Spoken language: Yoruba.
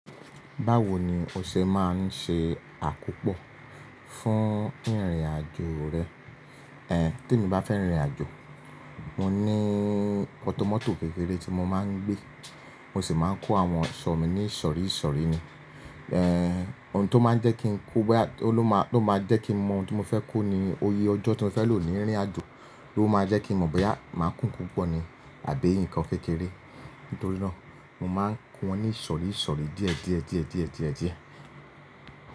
Báwo ni o ṣe máa ń ṣe àkópọ̀ fún ìrìnàjò rẹ? Tí emi bá fẹ́ rìn ìrìnàjò, mo ní ọ̀tọ̀mọ́tò kékeré tí mo máa ń gbé, mo sì máa ń kó àwọn ọ̀ṣọ́ mi ní ìsọ̀ríìsọ̀ríì ni. Òun tó máa ń jẹ́ kí n kó, bóyá ó ló máa, ló máa jẹ́ kí mo mọ ohun tí mo fẹ́ kó ni oyè ọjọ́ tí mo fẹ́ lò ní rìn ìrìnàjò ló máa jẹ́ kí mo mọ̀ bóyá màá kún kú pọ́ ni àbí nǹkan kékeré. Nítorí náà, mo máa ń kọ́ wọn ní ìsọ̀ríìsọ̀ríì díẹ̀ díẹ̀, díẹ̀, díẹ̀, díẹ̀, díẹ̀.